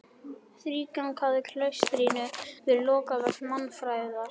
Í þrígang hefði klaustrinu verið lokað vegna mannfæðar.